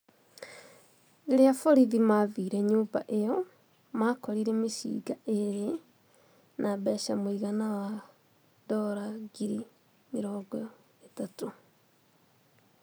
Rĩrĩa borithi maathire nyũmba ĩyo makorire mĩcinga ĩrĩ na mbeca mũigana wa ndora ngiri mĩrongo ĩtatũ.